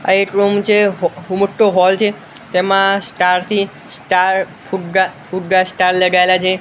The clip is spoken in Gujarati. આ એક રૂમ છે મોટ્ટો હૉલ છે તેમાં સ્ટાર થી સ્ટાર ફુગ્ગા ફુગ્ગા સ્ટાર લગાઇલા છે.